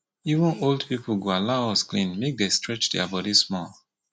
even old people go hollow us clean make dey stretch their body small